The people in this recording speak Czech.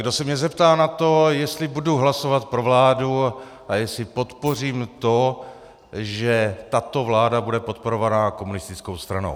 Kdo se mě zeptá na to, jestli budu hlasovat pro vládu a jestli podpořím to, že tato vláda bude podporovaná komunistickou stranou.